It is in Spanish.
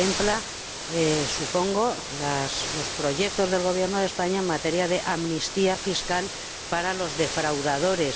Contempla, supongo, los proyectos del Gobierno de España en materia de amnistía fiscal para los defraudadores.